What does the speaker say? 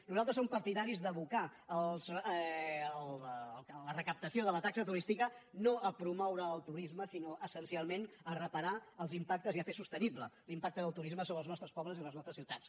nosaltres som partidaris d’abocar la recaptació de la taxa turística no a promoure el turisme sinó essencialment a reparar els impactes i a fer sostenible l’impacte del turisme sobre els nostres pobles i les nostres ciutats